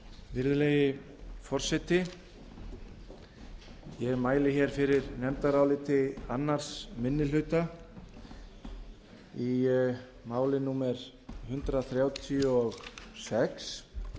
virðulegi forseti ég mæli hér fyrir nefndaráliti annar minni hluta í máli númer hundrað þrjátíu og sex um